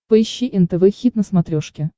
поищи нтв хит на смотрешке